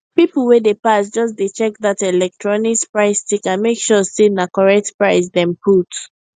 people wey dey pass just dey check that electronics price sticker make sure say na correct price dem put